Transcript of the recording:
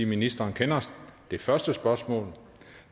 ministeren kender det første spørgsmål